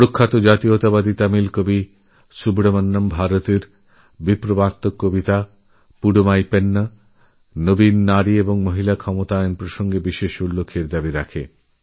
প্রসিদ্ধ জাতীয়তাবাদী তামিল কবি সুব্রহ্মণ্যভারতী তাঁর বৈপ্লবিক কবিতা পুদুমই পেন্ন নিউওম্যান আর নারী সশক্তিকরণএর জন্য চিরপ্রণম্য হয়েথাকবেন